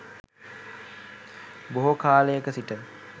බොහෝ කාලයක සිට